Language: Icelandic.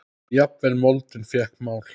Jafnvel moldin fékk mál.